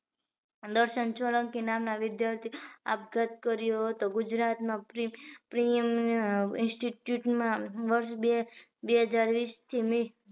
દર્શન સોલંકી નામના વિદ્યાર્થી એ આપઘાત કર્યો હતો ગુજરાત માં પ્રીયમ institute માં વર્ષ બે હજાર વીસ થી